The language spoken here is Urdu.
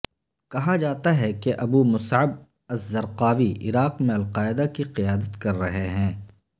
کہا جاتا ہے کہ ابو مصعب الزرقاوی عراق میں القاعدہ کی قیادت کر رہے ہیں